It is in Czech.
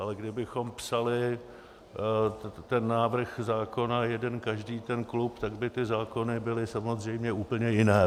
Ale kdybychom psali ten návrh zákona jeden každý ten klub, tak by ty zákony byly samozřejmě úplné jiné.